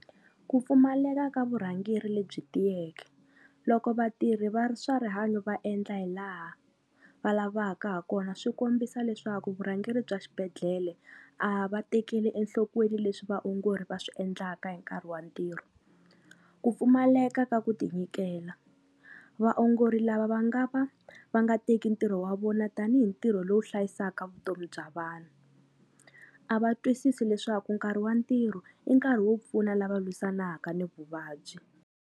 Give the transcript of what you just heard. Ku pfumaleka ka vurhangeri lebyi tiyeke, loko vatirhi va ri swa rihanyo va endla hi laha va lavaka ha kona swi kombisa leswaku vurhangeri bya xibedhlele a va tekeli enhlokweni leswi vaongori va swi endlaka hi nkarhi wa ntirho. Ku pfumaleka ka ku tinyikela, vaongori lava va nga va va nga teki ntirho wa vona tanihi ntirho lowu hlayisaka vutomi bya vanhu, a va twisisi leswaku nkarhi wa ntirho i nkarhi wo pfuna lava lwisanaka ni vuvabyi.